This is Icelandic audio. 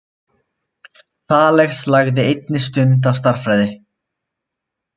Þales lagði einnig stund á stærðfræði.